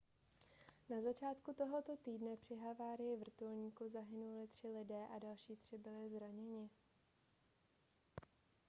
na začátku tohoto týdne při havárii vrtulníku zahynuli tři lidé a další tři byli zraněni